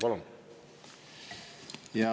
Palun!